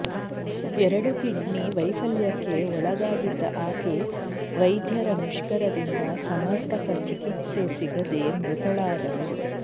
ಎರಡು ಕಿಡ್ನಿ ವೈಫಲ್ಯಕ್ಕೆ ಒಳಗಾಗಿದ್ದ ಆಕೆ ವೈಧ್ಯರ ಮುಷ್ಕರದಿಂದ ಸಮರ್ಪಕ ಚಿಕಿತ್ಸೆ ಸಿಗದೇ ಮೃತಳಾದಳು